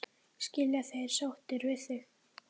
Skilja þeir sáttir við þig?